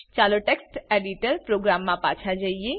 ચાલો text editor program મા પાછા જઈએ